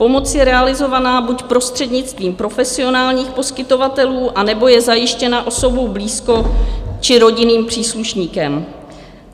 Pomoc je realizována buď prostřednictvím profesionálních poskytovatelů, anebo je zajištěna osobou blízkou či rodinným příslušníkem.